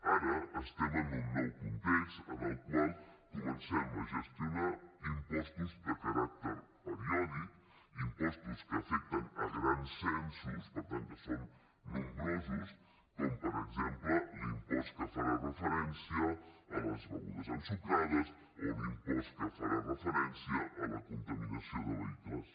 ara estem en un nou context en el qual comencem a gestionar impostos de caràcter periòdic impostos que afecten grans censos per tant que són nombrosos com per exemple l’impost que farà referència a les begudes ensucrades o l’impost que farà referència a la contaminació de vehicles